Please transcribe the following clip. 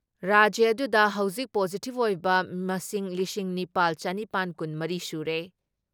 ꯔꯥꯖ꯭ꯌ ꯑꯗꯨꯗ ꯍꯧꯖꯤꯛ ꯄꯣꯖꯤꯇꯤꯞ ꯑꯣꯏꯕ ꯃꯁꯤꯡ ꯂꯤꯁꯤꯡ ꯅꯤꯄꯥꯜ ꯆꯥꯅꯤꯄꯥꯟ ꯀꯨꯟ ꯃꯔꯤ ꯁꯨꯔꯦ ꯫